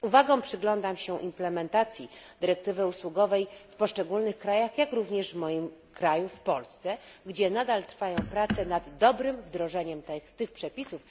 Z uwagą przyglądam się implementacji dyrektywy usługowej w poszczególnych krajach, jak również w moim kraju, w Polsce, gdzie nadal trwają prace nad dobrym wdrożeniem tych przepisów.